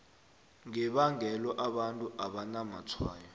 ngebangelo abantu abanamatshwayo